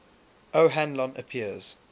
o hanlon appears